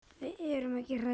Við erum ekki hrædd.